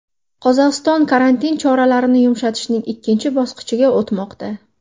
Qozog‘iston karantin choralarini yumshatishning ikkinchi bosqichiga o‘tmoqda.